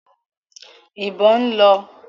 ìbọn ń lọ.